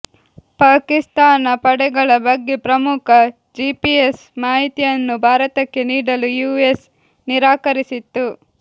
ಪಾಕಿಸ್ತಾನ ಪಡೆಗಳ ಬಗ್ಗೆ ಪ್ರಮುಖ ಜಿಪಿಎಸ್ ಮಾಹಿತಿಯನ್ನು ಭಾರತಕ್ಕೆ ನೀಡಲು ಯುಎಸ್ ನಿರಾಕರಿಸಿತ್ತು